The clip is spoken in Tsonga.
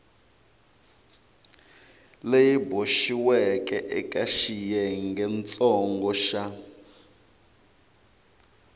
leyi boxiweke eka xiyengentsongo xa